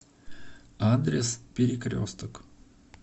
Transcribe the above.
адрес перекресток